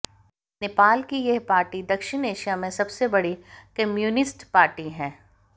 नेपाल की यह पार्टी दक्षिण एशिया में सबसे बड़ी कम्युनिस्ट पार्टी है